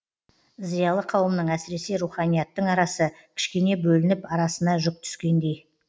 зиялы қауымның әсіресе руханияттың арасы кішкене бөлініп арасына жүк түскендей